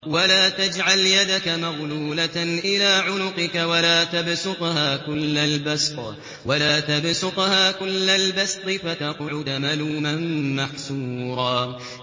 وَلَا تَجْعَلْ يَدَكَ مَغْلُولَةً إِلَىٰ عُنُقِكَ وَلَا تَبْسُطْهَا كُلَّ الْبَسْطِ فَتَقْعُدَ مَلُومًا مَّحْسُورًا